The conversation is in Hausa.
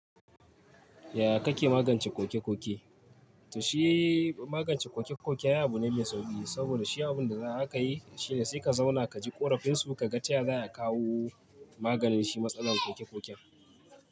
Yaya kake magance koke-koke? To shi magance koke-koke ai abu ne mai sauƙi, saboda shi abun da za ka yi shine sai ka zauna ka ji ƙorafinsu, ka ga taya za a kawo maganin shi matsalar koke-koken.